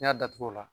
N'i y'a datugu o la